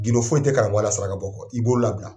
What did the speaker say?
Gindo foyi tɛ karamƆgƆ la saraka bɔ kɔ i bolo labila